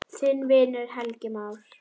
Þinn vinur, Helgi Már.